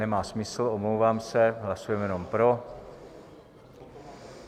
Nemá smysl, omlouvám se, hlasujeme jenom pro.